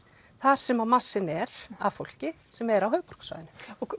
þar sem að massinn er af fólki sem er á höfuðborgarsvæðinu